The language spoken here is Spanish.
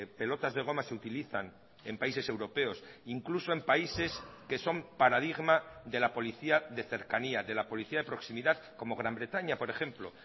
pelotas de goma se utilizan en países europeos incluso en países que son paradigma de la policía de cercanía de la policía de proximidad como gran bretaña por ejemplo